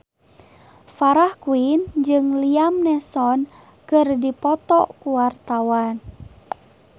Farah Quinn jeung Liam Neeson keur dipoto ku wartawan